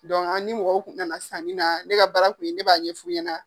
a ni mɔgɔw kun nana san ni na ne ka baara kun ye ne b'a ɲɛfɔ i ɲɛna .